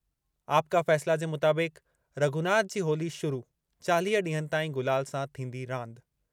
आपका फ़ैसला जे मुताबिक़ु- रघुनाथ जी होली शुरू, चालीह ॾींहनि ताईं गुलाल सां थींदी रांदि।